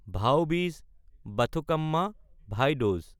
ভাও-বীজ বাথুকাম্মা (ভাই দুজ)